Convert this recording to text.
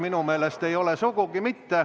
Minu meelest ei ole sugugi mitte.